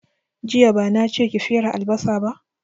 Jiya bana che ki fere albasa ba